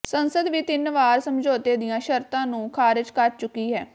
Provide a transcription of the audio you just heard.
ਸੰਸਦ ਵੀ ਤਿੰਨ ਵਾਰ ਸਮਝੌਤੇ ਦੀਆਂ ਸ਼ਰਤਾਂ ਨੂੰ ਖਾਰਜ ਕਰ ਚੁੱਕੀ ਹੈ